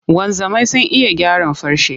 Wanzamai sun iya gyaran farce.